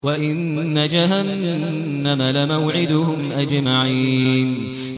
وَإِنَّ جَهَنَّمَ لَمَوْعِدُهُمْ أَجْمَعِينَ